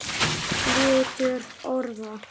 Litur orða